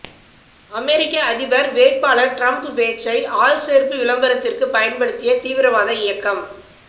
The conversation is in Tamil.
அமெரிக்க அதிபர் வேட்பாளர் டிரம்ப் பேச்சை ஆள்சேர்ப்பு விளம்பரத்துக்கு பயன்படுத்திய தீவிரவாத இயக்கம்